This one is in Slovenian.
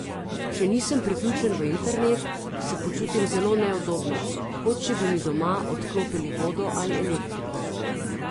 Če nisem priključen v internet, se počutim zelo neudobno, kot če bi mi doma odklopili vodo ali elektriko.